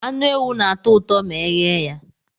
Anụ ewu na-atọ ụtọ ma eghe ya